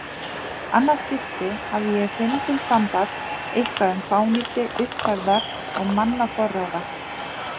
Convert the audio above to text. annað skipti hafði ég fimbulfambað eitthvað um fánýti upphefðar og mannaforráða.